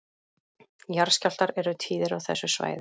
Jarðskjálftar eru tíðir á þessu svæði